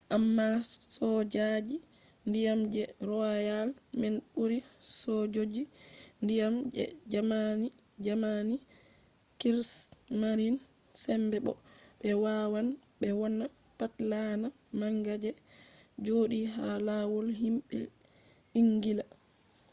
amma sojoji ndiyam je royal man ɓuri sojoji ndiyan je jamani krigsmarin” sembe bo ɓe wawan ɓe wonna pat laana manga je joɗi ha lawol himɓe ingila